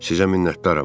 Sizə minnətdaram.